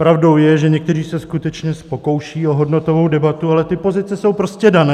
Pravdou je, že někteří se skutečně pokoušejí o hodnotovou debatu, ale ty pozice jsou prostě dané.